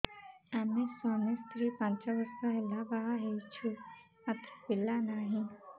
ଆମେ ସ୍ୱାମୀ ସ୍ତ୍ରୀ ପାଞ୍ଚ ବର୍ଷ ହେଲା ବାହା ହେଇଛୁ ମାତ୍ର ପିଲା ନାହିଁ